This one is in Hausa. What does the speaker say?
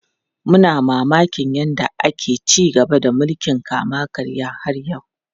Muna mamakin yadda ake ci gaba da mulkin kama karya har yau.